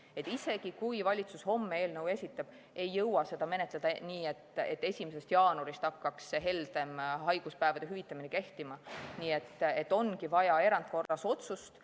Sest isegi kui valitsus homme eelnõu esitab, ei jõua seda menetleda nii, et 1. jaanuarist hakkaks heldem haiguspäevade hüvitamine kehtima, ja ongi vaja erandkorras otsust.